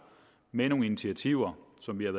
med nogle initiativer som vi har